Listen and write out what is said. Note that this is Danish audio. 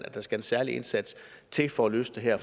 at der skal en særlig indsats til for at løse det her